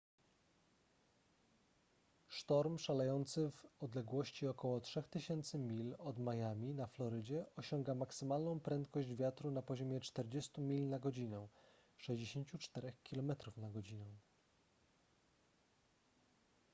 sztorm szalejący w odległości ok. 3000 mil od miami na florydzie osiąga maksymalną prędkość wiatru na poziomie 40 mil na godzinę 64 km/godz.